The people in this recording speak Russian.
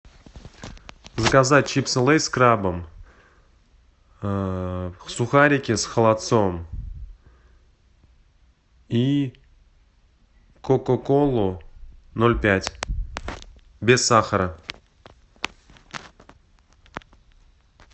заказать чипсы лейс с крабом сухарики с холодцом и кока колу ноль пять без сахара